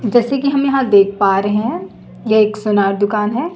जैसे कि हम यहां देख पा रहे हैं यह एक सोनार दुकान है।